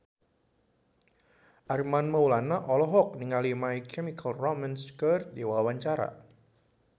Armand Maulana olohok ningali My Chemical Romance keur diwawancara